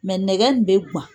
Mɛ nɛgɛ in bɛ gawan.